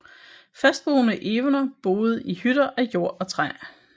Fastboende evener boede i hytter af jord og træ